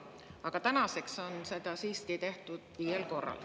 Aga tänaseks on seda siiski tehtud viiel korral.